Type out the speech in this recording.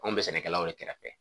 Anw bɛ sɛnɛkɛlaw yɛrɛ kɛrɛfɛ